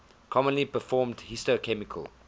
commonly performed histochemical